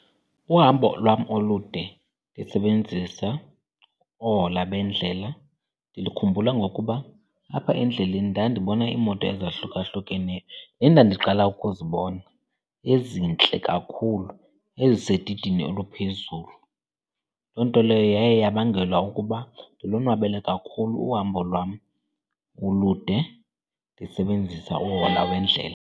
Uhambo lwam olude ndisebenzisa oohola bendlela ndilikhumbula ngokuba apha endleleni ndandibona iimoto ezahlukahlukeneyo endandiqala ukuzibona ezintle kakhulu, ezisedidini oluphezulu. Loo nto leyo yaye yabangela ukuba ndilonwabele kakhulu uhambo lwam ulude ndisebenzisa uhola wendlela.